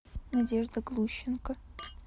надежда глущенко